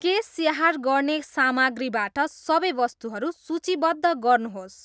केश स्याहार गर्ने सामग्रीबाट सबै वस्तुहरू सूचीबद्ध गर्नुहोस्।